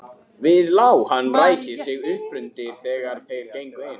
Við lá hann ræki sig uppundir þegar þeir gengu inn.